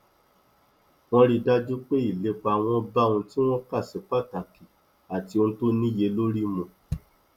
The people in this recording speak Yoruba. wọn rí dájú pé ìlépa wọn bá ohun tí wọn kà sí pàtàkì àti ohun tó níyelórí mu